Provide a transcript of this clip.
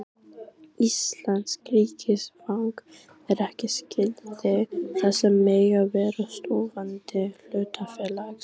Íslenskt ríkisfang er ekki skilyrði þess að mega vera stofnandi hlutafélags.